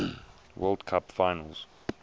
world cup finals